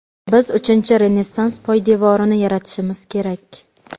Biz uchinchi renessans poydevorini yaratishimiz kerak.